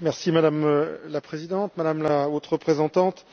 Madame la Présidente, Madame la Haute représentante,